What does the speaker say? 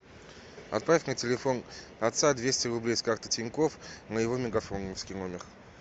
отправь на телефон отца двести рублей с карты тинькофф на его мегафоновский номер